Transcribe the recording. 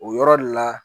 O yɔrɔ le la